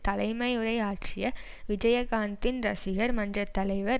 தலைமையுரை ஆற்றிய விஜயகாந்தின் ரசிகர் மன்ற தலைவர்